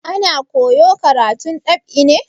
Ana koyo karatun dab'i ne?